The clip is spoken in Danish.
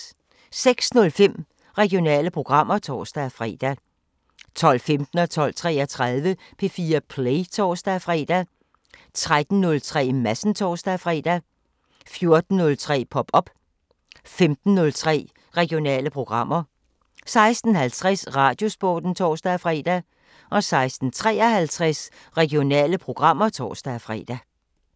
06:05: Regionale programmer (tor-fre) 12:15: P4 Play (tor-fre) 12:33: P4 Play (tor-fre) 13:03: Madsen (tor-fre) 14:03: Pop op 15:03: Regionale programmer 16:50: Radiosporten (tor-fre) 16:53: Regionale programmer (tor-fre)